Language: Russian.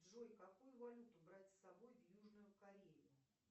джой какую валюту брать с собой в южную корею